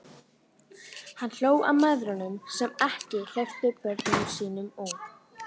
Hann hló að mæðrunum sem ekki hleyptu börnunum sínum út.